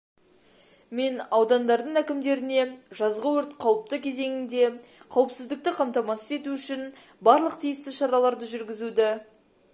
мен аудандардың әкімдеріне жазғы өрт қауіпті кезеңінде қауіпсіздікті қамтамасыз ету үшін барлық тиісті шараларды жүргізуді